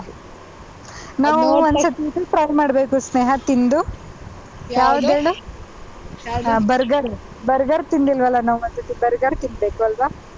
ನಾವು ಒಂದ್ಸರ್ತಿ ಇದು try ಮಾಡ್ಬೇಕು ಸ್ನೇಹ ತಿಂದು burger burger ತಿಂದಿಲ್ವಲ್ಲ ನಾವು ಒಂದ್ಸರ್ತಿ burger ತಿನ್ನಬೇಕು ಅಲ್ವಾ.